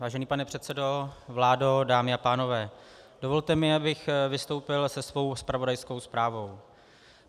Vážený pane předsedo, vládo, dámy a pánové, dovolte mi, abych vystoupil se svou zpravodajskou zprávou.